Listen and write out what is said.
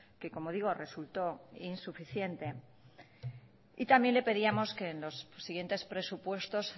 que como digo resultó insuficiente y también le pedíamos que en los siguientes presupuestos